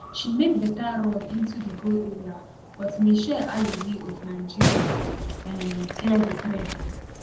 she make beta run into di goal area but mitchelle alozie of nigeria um clear di threat